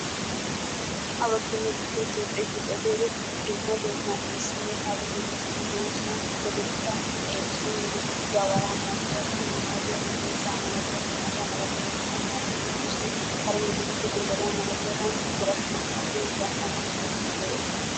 Ha baggi nu biittee toopheekko xeelliyoode dumma dumma sonne kare medoosati de"oosona. hegeetikka so medoosati gawaraa malatiyaagaa, kanaa malatiyaagaa, miizzaa malatiyaagaa, hatiya malatiyaagaa, paraa malatiyaagaa gidoosona. Kare medoosati godariya malatiyaagaa, wora kanaa malatiyaagaa, gaammuwa malatiyaageeti de"oosona.